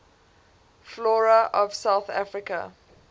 flora of south africa